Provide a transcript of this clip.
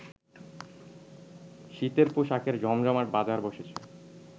শীতের পোশাকের জমজমাট বাজার বসেছে